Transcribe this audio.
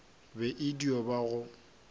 be e dio ba go